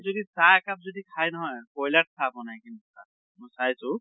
যদি চাহ একাপ যদি খায় নহয়, কয়্লাত চাহ বনাই কিন্তু চাইছো